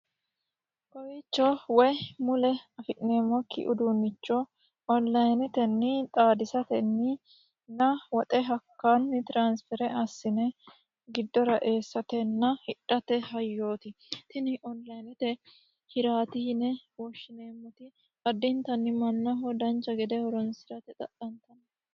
Kowiicho woyi mule afi'neemmoki uduunne onlinetenni xaadisattenni woxe tiransfere assine hidhate hayyooti.